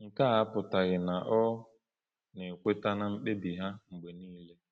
Nke a apụtaghị na ọ na-ekweta na mkpebi ha mgbe niile.